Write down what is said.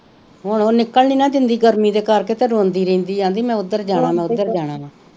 ਹੁਣ ਉਹ ਨਿੱਕਲ ਨੀ ਨਾ ਦੰਦੀ ਗਰਮੀ ਦੇ ਕਰ ਕੇ ਫੇਰ ਰੋਂਦੀ ਰਹਿੰਦੀ ਆ ਅਹੰਦੀ ਮੈਂ ਉਦਰ ਜਾਣਾ ਵਾ ਉਦਰ ਜਾਣਾ ਵਾ